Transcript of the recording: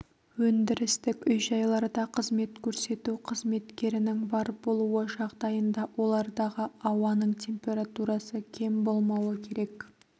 өндірістік үй-жайларда қызмет көрсету қызметкерінің бар болуы жағдайында олардағы ауаның температурасы кем болмауы керек